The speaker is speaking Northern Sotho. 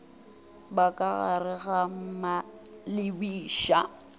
ba ka gare ga malebiša